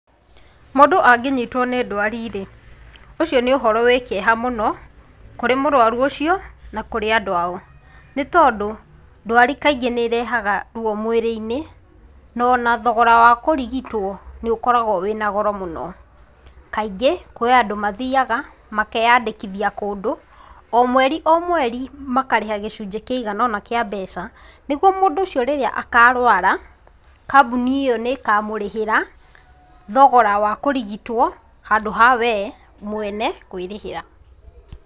Mũndũ angĩnyitwo nĩ ndwari rĩ, ũcio nĩ ũhoro wĩ kĩeha mũno kũrĩ mũrwaru ũcio na kũrĩ andũ ao nĩtondũ ndwari kaingĩ nĩirehaga ruo mwĩrĩinĩ na ona thogora wa kũrigitwo nĩũkoragwo wĩna goro mũno, kaingĩ kũrĩ andũ mathiaga makeyandĩkithia kũndũ o mweri o mweri makarĩha gĩcunjĩ kĩigana ũna kĩa mbeca nĩgũo mũndũ ũcio rĩrĩa akarũara kambũnĩ ĩyo nĩikamũrĩhĩra thogora wa kũrigitũo handũ ha we mwene kwĩrĩhĩra.